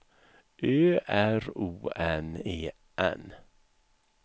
Ö R O N E N